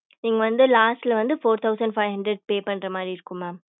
நீங்க வந்து last ல வந்து four thousand five hundred pay பண்ற மாதிரி இருக்கும் mam